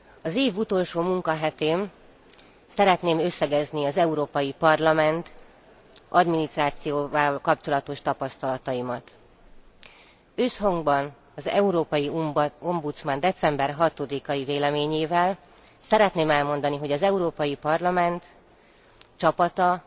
Az év utolsó munkahetén szeretném összegezni az Európai Parlament adminisztrációjával kapcsolatos tapasztalataimat. Összhangban az európai ombudsman december 6 i véleményével szeretném elmondani, hogy az Európai Parlament csapata,